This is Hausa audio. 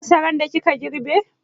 Kin sayar da masaran da kika girbe?